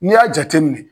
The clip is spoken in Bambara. N'i y'a jateminɛ